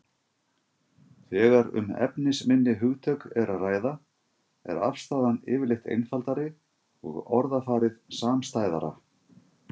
Þegar um efnisminni hugtök er að ræða er afstaðan yfirleitt einfaldari og orðafarið samstæðara.